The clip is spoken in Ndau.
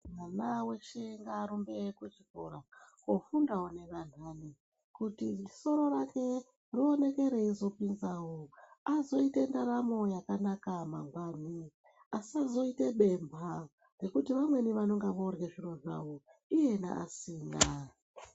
Mwana weshe ngaarumbe kuchikora koofundawo nevamweni, kuti soro rake rioneke reizopinzawo azoite ndaramo yakanaka mangwani. Asazoite bemhwa ngekuti vamweni vanonga voorye zviro zvavo, iyena asina.